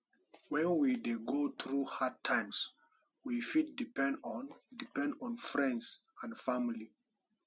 when we dey go through hard times we fit depend on depend on friends and family